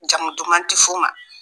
Jamu duman tɛ f'u ma